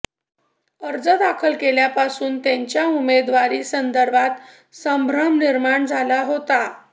अर्ज दाखल केल्यापासून त्यांच्या उमेदवारी संदर्भात संभ्रम निर्माण झाला होता